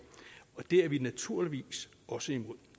er vi naturligvis også imod